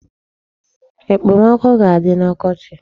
Ekpomọkụ ga-adị n'ọkọchị.